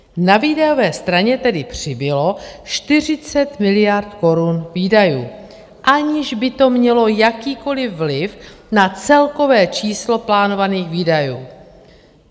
Na výdajové straně tedy přibylo 40 miliard korun výdajů, aniž by to mělo jakýkoli vliv na celkové číslo plánovaných výdajů.